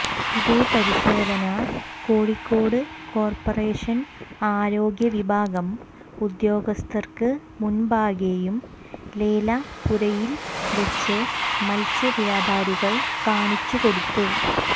ഇതേ പരിശോധന കോഴിക്കോട് കോർപറേഷൻ ആരോഗ്യവിഭാഗം ഉദ്യോഗസ്ഥർക്ക് മുമ്പാകെയും ലേലപ്പുരയിൽവെച്ച് മത്സ്യ വ്യാപാരികൾ കാണിച്ച് കൊടുത്തു